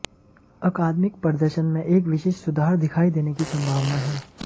अकादमिक प्रदर्शन में एक विशिष्ट सुधार दिखाई देने की संभावना है